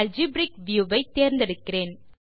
algebraic view வை தேர்ந்தெடுக்கிறேன்